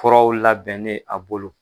Kɔrɔw labɛnnen a bolo.